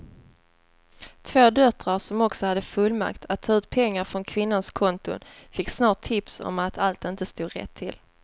Två döttrar som också hade fullmakt att ta ut pengar från kvinnans konton fick snart tips om att allt inte stod rätt till.